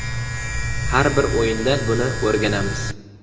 Har bir o‘yindan buni o‘rganamiz.